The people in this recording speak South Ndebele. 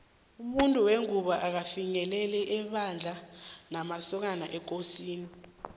umuntu wengubo akafinyeleli ebandla lamasokana ekosini